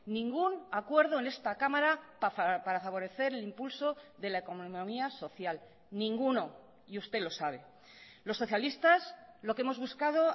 ningún acuerdo en esta cámara para favorecer el impulso de la economía social ninguno y usted lo sabe los socialistas lo que hemos buscado